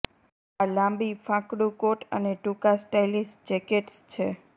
આ લાંબી ફાંકડું કોટ અને ટૂંકા સ્ટાઇલીશ જેકેટ્સ છે